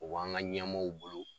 O b'an ka ɲɛmaaw bolo